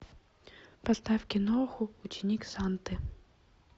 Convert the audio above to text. поставь киноху ученик санты